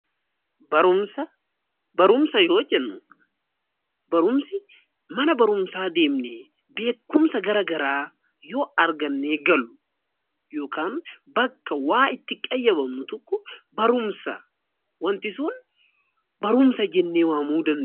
Barumsa yoo jennu mana barumsaa deemnee beekumsa garaa garaa yoo argannee gallu yookiin bakka waa itti qayyabannu tokko barumsa jennee waamuu dandeenya.